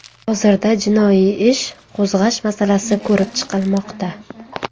Hozirda jinoiy ish qo‘zg‘ash masalasi ko‘rib chiqilmoqda.